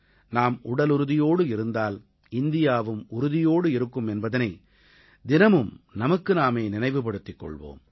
நாம் உடலுறுதியோடு இருந்தால் இந்தியாவும் உறுதியோடு இருக்கும் என்பதனை தினமும் நமக்கு நாமே நினைவுபடுத்திக் கொள்வோம்